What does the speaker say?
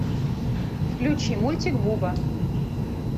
включи мультик буба